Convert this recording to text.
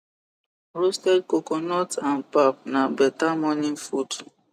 roasted coconut and pap na better morning food